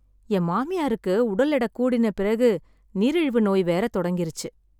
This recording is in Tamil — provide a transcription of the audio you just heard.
என் மாமியாருக்கு உடல் எடை கூடின பிறகு, நீரிழிவு நோய் வேற தொடங்கிருச்சு.